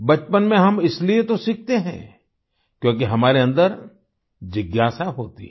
बचपन में हम इसीलिए तो सीखते हैं क्योंकि हमारे अन्दर जिज्ञासा होती है